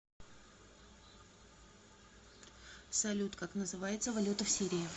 салют как называется валюта в сирии